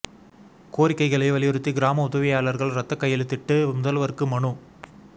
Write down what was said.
கோரிக்கைகளை வலியுறுத்தி கிராம உதவியாளர்கள் ரத்த கையெழுத்திட்டு முதல்வருக்கு மனு